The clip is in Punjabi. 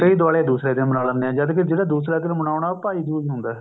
ਕਈ ਦਿਵਾਲੀ ਦੂਸਰੇ ਦਿੰਨ ਮੰਨਾ ਲੇਦੇ ਹੈ ਜਦ ਕੀ ਜਿਹੜਾ ਦੂਸਰਾ ਦਿੰਨ ਮਨਾਉਣਾ ਉਹ ਭਾਈ ਦੂਜ਼ ਹੁੰਦਾ